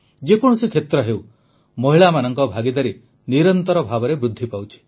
ଯେକୌଣସି କ୍ଷେତ୍ର ହେଉ ମହିଳାମାନଙ୍କ ଭାଗିଦାରୀ ନିରନ୍ତର ଭାବେ ବୃଦ୍ଧି ପାଉଛି